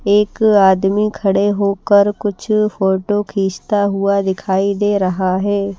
एक आदमी खड़े होकर कुछ फोटो खींचता हुआ दिखाई दे रहा है।